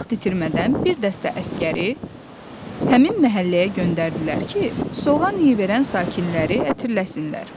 Vaxt itirmədən bir dəstə əsgəri həmin məhəlləyə göndərdilər ki, soğan iyi verən sakinləri ətirləsinlər.